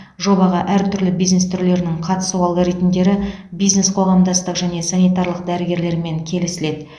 жобаға әр түрлі бизнес түрлерінің қатысу алгоритмдері бизнес қоғамдастық және санитарлық дәрігерлермен келісіледі